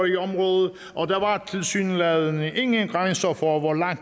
i området og der var tilsyneladende ingen grænser for hvor langt